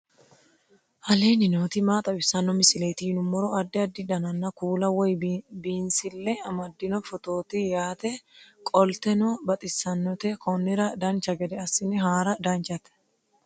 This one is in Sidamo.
aleenni nooti maa xawisanno misileeti yinummoro addi addi dananna kuula woy biinsille amaddino footooti yaate qoltenno baxissannote konnira dancha gede assine haara danchate